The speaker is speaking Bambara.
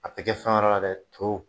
A tɛ kɛ fɛn wɛrɛ la dɛ to.